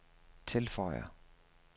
tilføjer